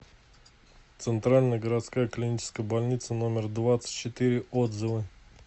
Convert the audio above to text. центральная городская клиническая больница номер двадцать четыре отзывы